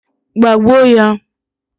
Gbagbuo ya!